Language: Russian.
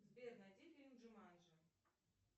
сбер найди фильм джуманджи